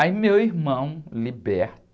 Aí meu irmão,